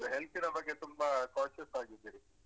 Health ನ ಬಗ್ಗೆ ತುಂಬಾ conscious ಆಗಿದ್ದೀರಿ.